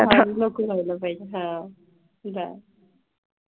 बघायला पाहिजे हा जा.